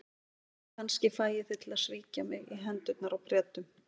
Kannski fæ ég þig til að svíkja mig í hendurnar á Bretunum.